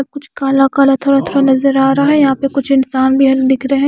कुछ काला-काला थोड़ा-थोड़ा नज़र आ रहा है यहां फिर कुछ इंसान दिख रहे है।